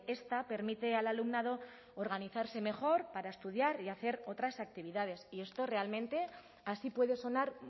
esta permite al alumnado organizarse mejor para estudiar y hacer otras actividades y esto realmente así puede sonar